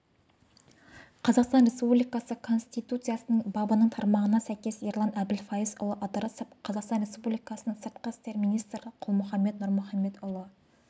қазақстан республикасы конституциясының бабының тармағына сәйкес ерлан әбілфайызұлы ыдырысов қазақстан республикасының сыртқы істер министрі қалмұханбет нұрмұханбетұлы